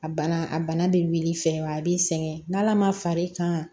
A bana a bana bɛ wuli fɛ wa a b'i sɛgɛn n'ala ma far'i kan